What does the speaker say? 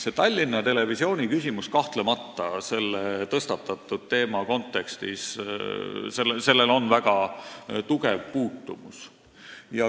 Tallinna Televisiooni küsimusel on kahtlemata selle tõstatatud teema kontekstis väga tugev puutumus.